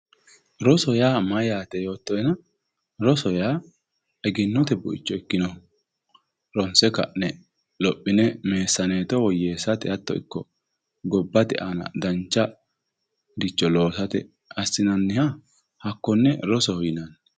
rosu yaa mayyaate yoottoena rosu yaa egennote buicho ikkinoho ronse ka'ne lophine meessaneeto woyyeessate hatto ikko gobbate aana dancharicho loosate assinanniha hakkonne rosoho yinanni.